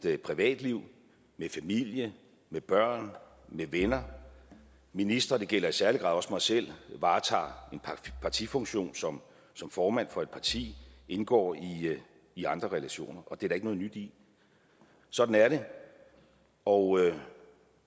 et privatliv med familie med børn med venner ministre det gælder i særlig grad også mig selv varetager en partifunktion som formand for et parti indgår i andre relationer og det er der ikke noget nyt i sådan er det og